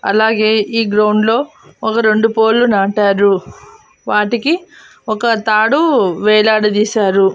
అలాగే ఈ గ్రౌండ్లో ఒక రెండు పోల్ నాటారు వాటికి ఒక తాడు వేలాడదీశారు.